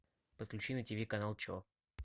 подключи на ти ви канал че